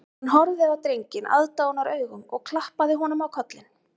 Hann horfði á drenginn aðdáunaraugum og klappaði honum á kollinn